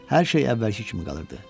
Hər şey əvvəlki kimi qalırdı.